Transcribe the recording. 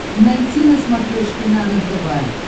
найти на смотрешке нано тв